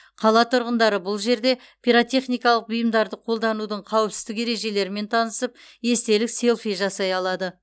қала тұрғындары бұл жерлерде пиротехникалық бұйымдарды қолданудың қауіпсіздік ережелерімен танысып естелік селфи жасай алады